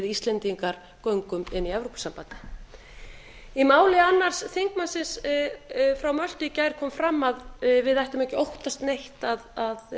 íslendingar göngum inn í evrópusambandið í máli annars þingmannsins frá möltu í gær kom fram að við ættum ekki að